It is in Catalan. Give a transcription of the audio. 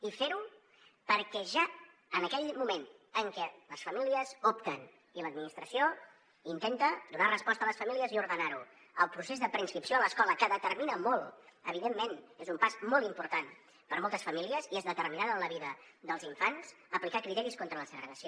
i fer ho perquè ja en aquell moment en què les famílies opten i l’administració intenta donar resposta a les famílies i ordenar ho al procés de preinscripció a l’escola que determina molt evidentment és un pas molt important per a moltes famílies i és determinant en la vida dels infants aplicar criteris contra la segregació